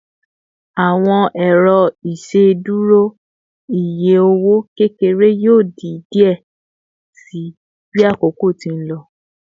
Awọn ero iṣeduro iye owo kekere yoo di diẹ sii bi akoko ti n lọ